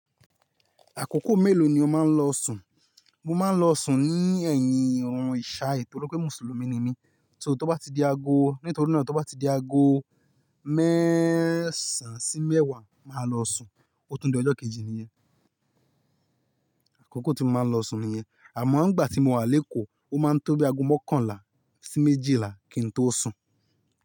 Àkókò mélòó ni ó máa ń lọ sùn? Mo máa ń lọ sùn ní ẹ̀yìn ọ̀run ìṣái nítorí pé Mùsùlùmí ni mí. So tó bá ti di ago, nítorí náà tó bá ti di ago mẹ́sàn-án sí mẹ́wàá máa lọ sùn. Ó tun di ọjọ́ kejì ni yẹn. Àkókò tí mo máa ń lọ sùn nìyẹn. Àmọ́ nígbà tí mo wà lékòó, ó máa ń tó bí ago mọ́kànlá sí méjìlá kí n tó sùn.